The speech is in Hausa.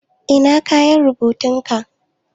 Ina kayan rubutun ka?